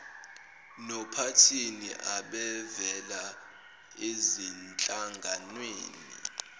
nophathini abavela ezinhlanganweni